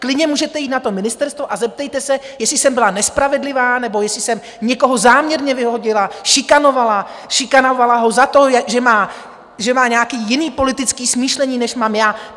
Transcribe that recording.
Klidně můžete jít na to ministerstvo a zeptejte se, jestli jsem byla nespravedlivá nebo jestli jsem někoho záměrně vyhodila, šikanovala, šikanovala ho za to, že má nějaké jiné politické smýšlení, než mám já.